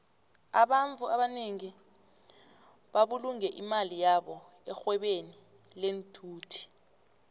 abantfu abanengi babulunge imali yabo erhwebeni lenthuthi